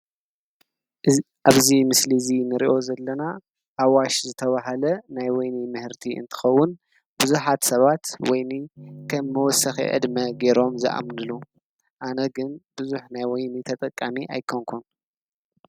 ኣብዚ ምስሊ እዙይ ንርእዮ ዘለና ኣዋሽ ዝተባሃለ ናይ ወይኒ ምህርቲ እንትከውን ብዙሓት ሰባት ወይኒ ከም መወሰኪ ዕድመ ገይሮም ዝኣምንሉ። ኣነ ግን ብዙሕ ናይ ወይኒ ተጠቃሚ ኣይኮነኩን።